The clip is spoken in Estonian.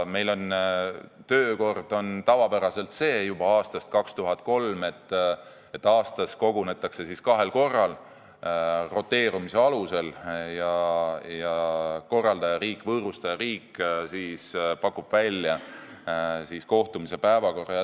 Meie töökord on tavapäraselt juba aastast 2003 selline, et aastas kogunetakse kahel korral roteerumise alusel ja korraldajariik, võõrustajariik, pakub välja kohtumise päevakorra.